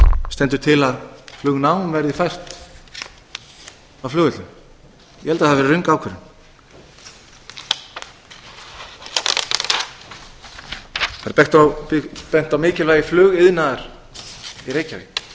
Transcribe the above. stendur til að flugnám verði fært af flugvellinum ég held að það hafi verið röng ákvörðun það er bent á mikilvægi flugiðnaðar í reykjavík það er hægt að